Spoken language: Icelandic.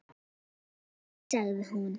Jú sagði hún.